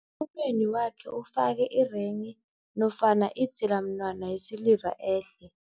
Emunweni wakhe ufake irenghi nofana idzilamunwana yesiliva ehle.